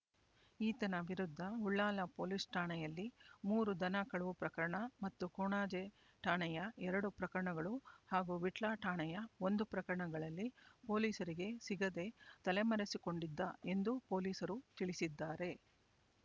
ಈತನ ವಿರುದ್ಧ ಉಳ್ಳಾಲ ಪೊಲೀಸ್ ಠಾಣೆಯಲ್ಲಿ ಮೂರು ದನ ಕಳವು ಪ್ರಕರಣ ಮತ್ತು ಕೊಣಾಜೆ ಠಾಣೆಯ ಎರಡು ಪ್ರಕರಣಗಳು ಹಾಗೂ ವಿಟ್ಲ ಠಾಣೆಯ ಒಂದು ಪ್ರಕರಣಗಳಲ್ಲಿ ಪೊಲೀಸರಿಗೆ ಸಿಗದೆ ತಲೆಮರೆಸಿಕೊಂಡಿದ್ದ ಎಂದು ಪೊಲೀಸರು ತಿಳಿಸಿದ್ದಾರೆ